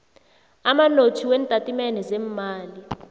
amanothi weentatimende zeemali